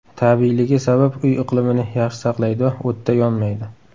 Tabiiyligi sabab uy iqlimini yaxshi saqlaydi va o‘tda yonmaydi.